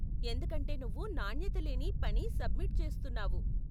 ఎందుకంటే నువ్వు నాణ్యత లేని పని సబ్మిట్ చేస్తున్నావు.